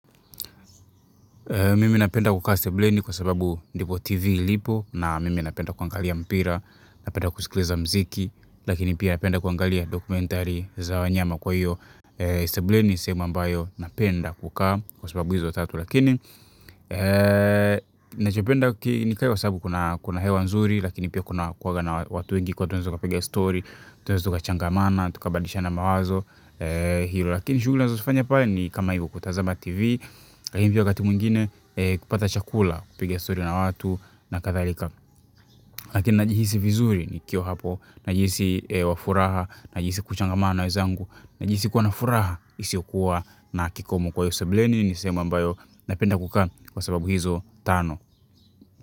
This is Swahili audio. Mimi napenda kukaa sebuleni kwa sababu ndipo TV ilipo na mimi napenda kuangalia mpira, napenda kusikiliza muziki, lakini pia napenda kuangalia dokumentari za wanyama kwa hiyo. Sebuleni ni sehemu ambayo napenda kukaa kwa sababu izo tatu lakini. Nachopenda nikae kwa sababu kuna hewa nzuri lakini pia kuna kuanga na watu wengi kuwa tunaweza tukapiga story, tunaeza tukachangamana, tukabadilishana mawazo. Hilo lakini shughuli nazozifanya pale ni kama hiyo kutazama TV hivyo wakati mwingine kupata chakula kupiga story na watu na kadhalika lakini najihisi vizuri nikiwa hapo najisi wa furaha, najisi kuchangamana na wezangu najisi kuwa na furaha, isiyokuwa na kikomu kwa hiyo sebuleni ni sehemu ambayo napenda kukaa kwa sababu hizo tano.